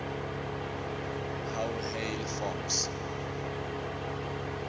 how hail forms